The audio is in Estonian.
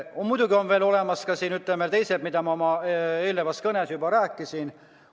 On muidugi olemas ka teised, millest ma oma eelnevas kõnes juba rääkisin.